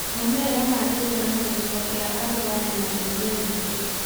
Maumĩrĩra ma gĩthurano gĩcigo gĩa Arua mena ciũria nyingĩ